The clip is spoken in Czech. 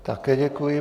Také děkuji.